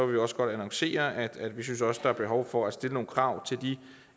vi også godt annoncere at vi synes at der er behov for at stille nogle krav til de